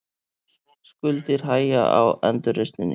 Skuldir hægja á endurreisninni